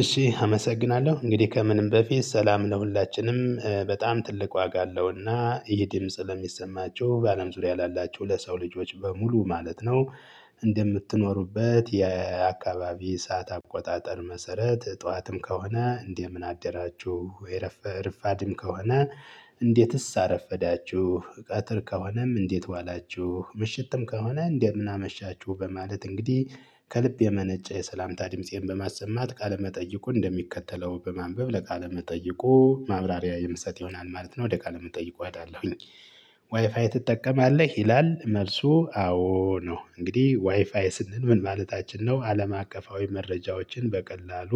እሺ አመሰግናለሁ እንግዲህ ከምንም በፊት ሰላም ለሁላችንም በጣም ትልቅ ዋጋ አለውና ይሄ ድምጽ ለሚሰማቹ በአለም ዙሪያ ላላቹ ለሰው ልጆች በሙሉ ማለት ነው። እንደምትኖሩበት የአካባቢ ሰዓት አቆጣጠር መሰረት ጠዋትም ከሆነ እንደምን አደራችሁ የረፈ ረፋድም ከሆነ? እንዴትስ አረፈዳችሁ ቀትር ከሆነም እንዴት ዋላችሁ ምሽትም ከሆነ እንደምን አመሻችሁ በማለት እንግዲህ። ከልብ የመነጨ የሰላምታ ድምፄን በማሰማት ቃለመጠየቁ እንደሚከተለው በማንበብ ለቃለ መጠይቁ ማብራሪያ የምሰጥ ይሆናል ማለት ነው። ወደ ቃለ መጠይቁ እሄዳለሁኝ። ዋይፋይ ትጠቀማለህ ይላል? መልሱ አዎ ነው እንግዲህ ዋይፋይ ስንል ምን ማለታችን ነው? አለም አቀፋዊ መረጃዎችን በቀላሉ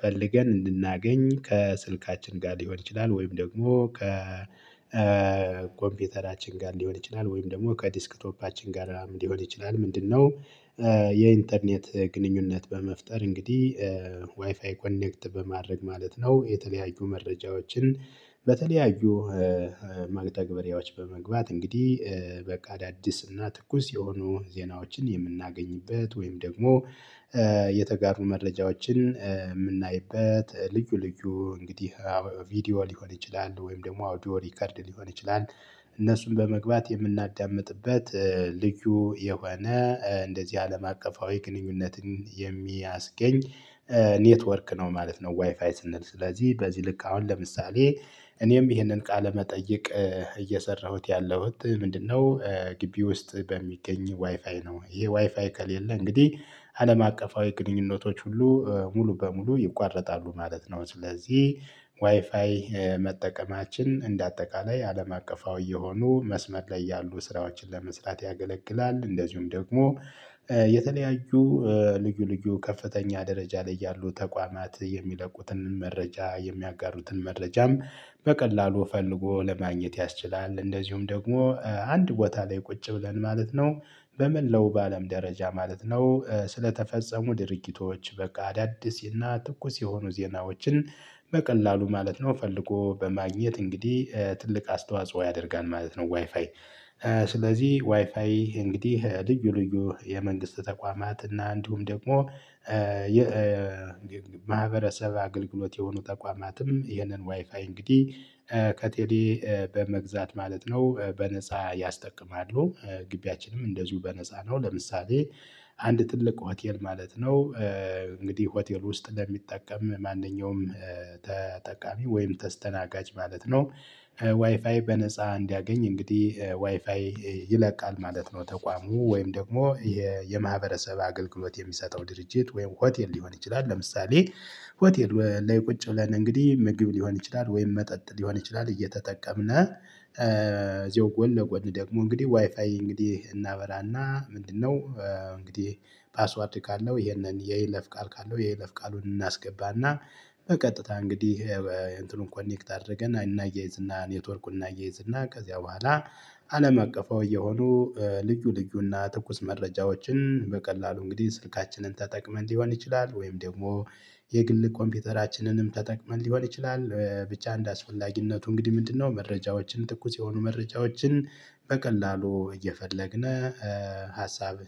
ፈልገን እንድናገኝ ከስልካችን ጋር ሊሆን ይችላል ወይም ደግሞ ከ ኮምፒውተራችን ጋር ሊሆን ይችላል ወይም ደግሞ ከዲስክቶፓችን ጋራ ሊሆን ይችላል ምንድነው? የኢንተርኔት ግንኙነት በመፍጠር እንግዲህ ዋይፋይ ኮኔክት በማድረግ ማለት ነው። የተለያዩ መረጃዎችን በተለያዩ መግተግበሪያዎች በመግባት እንግዲህ በቃ አዳዲስ እና ትኩስ የሆኑ ዜናዎችን የምናገኝበት ወይም ደግሞ የተጋሩ መረጃዎችን የምናይበት ልዩ ልዩ እንግዲህ ቪዲዮ ሊሆን ይችላል ወይም ደግሞ አውዲዮ ሪከርድ ሊሆን ይችላል። እነሱን በመግባት የምናዳምጥበት ልዩ የሆነ እንደዚህ አለም አቀፋዊ ግንኙነትን የሚያስገኝ ኔትወርክ ነው ማለት ነው። ዋይፋይ ስንል ስለዚህ በዚህ ልክ አሁን ለምሳሌ እኔም ይሄንን ቃለ መጠየቅ እየሰራሁት ያለሁት ምንድነው? ግቢ ውስጥ በሚገኝ ዋይፋይ ነው። ይሄ ዋይፋይ ከሌለ እንግዲህ አለም አቀፋዊ ግንኙነቶች ሁሉ ሙሉ በሙሉ ይቋረጣሉ ማለት ነው። ስለዚህ ዋይፋይ መጠቀማችን እንደ አጠቃላይ አለም አቀፋዊ የሆኑ መስመር ላይ ያሉ ስራዎችን ለመስራት ያገለግላል። እንደዚሁም ደግሞ የተለያዩ ልዩ ልዩ ከፍተኛ ደረጃ ላይ ያሉ ተቋማት የሚለቁትን መረጃ የሚያጋሩትን መረጃም በቀላሉ ፈልጎ ለማግኘት ያስችላል። እንደዚሁም ደግሞ አንድ ቦታ ላይ ቁጭ ብለን ማለት ነው በመላው በአለም ደረጃ ማለት ነው። ስለተፈጸሙ ድርጊቶች በቃ አዳዲስ እና ትኩስ የሆኑ ዜናዎችን በቀላሉ ማለት ነው ፈልጎ በማግኘት እንግዲህ ትልቅ አስተዋጽኦ ያደርጋል ማለት ነው። ዋይፋይ ስለዚህ ዋይፋይ እንግዲህ ልዩ ልዩ የመንግስት ተቋማት እና እንዲሁም ደግሞ የ የማህበረሰብ አገልግሎት የሆኑ ተቋማትም ይህንን ዋይፋይ እንግዲህ ከቴሌ በመግዛት ማለት ነው በነፃ ያስጠቅማሉ። ግቢያችንም እንደዚሁ በነፃ ነው። ለምሳሌ አንድ ትልቅ ሆቴል ማለት ነው። እንግዲህ ሆቴል ውስጥ ለሚጠቀም ማንኛውም ተጠቃሚ ወይም ተስተናጋጅ ማለት ነው። ዋይፋይ በነፃ እንዲያገኝ እንግዲህ ዋይፋይ ይለቃል ማለት ነው። ተቋሙ ወይም ደግሞ የ የማህበረሰብ አገልግሎት የሚሰጠው ድርጅት ወይም ሆቴል ሊሆን ይችላል። ለምሳሌ ሆቴል ላይ ቁጭ ብለን እንግዲህ ምግብ ሊሆን ይችላል ወይም መጠጥ ሊሆን ይችላል። እየተጠቀምነ እዚሁ ጎን ለጎን ደግሞ እንግዲህ ዋይፋይ እንግዲህ እናበራና ምንድነው? እንግዲህ ፓስወርድ ካለው ይሄንን የይለፍ ቃል ካለው የይለፍ ቃሉን እናስገባና በቀጥታ እንግዲህ እንትኑን ኮኔክት አድርገን እናያይዝና ኔትወርኩን እናያይዝና ከዚያ በኋላ አለም አቀፋዊ የሆኑ ልዩ ልዩና ትኩስ መረጃዎችን በቀላሉ እንግዲህ ስልካችንን ተጠቅመን ሊሆን ይችላል ወይም ደግሞ የግል ኮምፒውተራችንንም ተጠቅመን ሊሆን ይችላል። ብቻ እንዳስፈላጊነቱ እንግዲህ ምንድነው መረጃዎችን ትኩስ የሆኑ መረጃዎችን በቀላሉ እየፈለግን ሀሳብ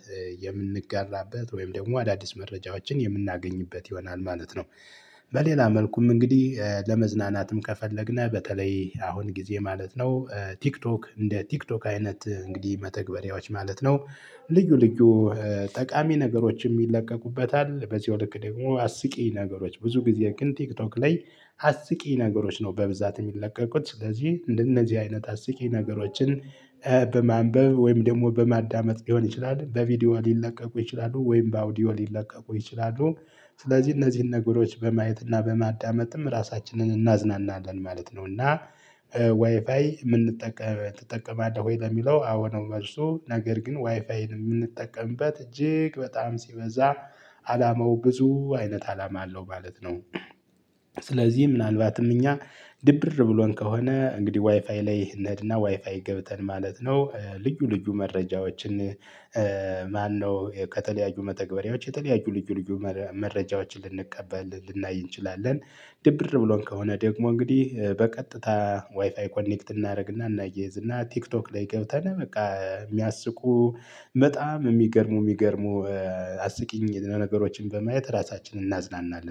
የምንጋራበት ወይም ደግሞ አዳዲስ መረጃዎችን የምናገኝበት ይሆናል ማለት ነው። በሌላ መልኩም እንግዲህ ለመዝናናትም ከፈለግን በተለይ አሁን ጊዜ ማለት ነው። ቲክቶክ እንደ ቲክቶክ አይነት እንግዲህ መተግበሪያዎች ማለት ነው። ልዩ ልዩ ጠቃሚ ነገሮች ይለቀቁበታል በዚያው ልክ ደግሞ አስቂኝ ነገሮች ብዙ ጊዜ ግን ቲክቶክ ላይ። አስቂኝ ነገሮች ነው በብዛት የሚለቀቁት ስለዚህ እንደነዚህ አይነት አስቂኝ ነገሮችን በማንበብ ወይም ደግሞ በማዳመጥ ሊሆን ይችላል በቪዲዮ ሊለቀቁ ይችላሉ ወይም በአውዲዮ ሊለቀቁ ይችላሉ። ስለዚህ እነዚህን ነገሮች በማየት እና በማዳመጥም ራሳችንን እናዝናናለን ማለት ነው። እና ዋይፋይ የምንጠቀመ ትጠቀማለህ ወይ? ለሚለው አዎ ነው መልሱ። ነገር ግን ዋይፋይን የምንጠቀምበት እጅግ በጣም ሲበዛ አላማው ብዙ አይነት አላማ አለው ማለት ነው። ስለዚህ ምናልባትም እኛ ድብርር ብሎን ከሆነ እንግዲህ ዋይፋይ ላይ እንሄድና ዋይፋይ ገብተን ማለት ነው። ልዩ ልዩ መረጃዎችን ማነው? ከተለያዩ መተግበሪያዎች የተለያዩ ልዩ ልዩ መረጃዎችን ልንቀበል ልናይ እንችላለን። ድብር ብሎን ከሆነ ደግሞ እንግዲህ በቀጥታ ዋይፋይ ኮኔክት እናደርግና እናያይዝ እና ቲክቶክ ላይ ገብተን በቃ የሚያስቁ በጣም የሚገርሙ የሚገርሙ አስቂኝ ነገሮችን በማየት ራሳችንን እናዝናናለን